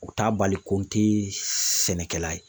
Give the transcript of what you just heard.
U t'a bali ko n tɛ sɛnɛkɛla ye